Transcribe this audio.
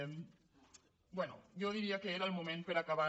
bé jo diria que era el mo·ment per a acabar